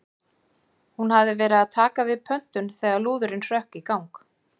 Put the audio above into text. Hún hafði verið að taka við pöntun þegar lúðurinn hrökk í gang.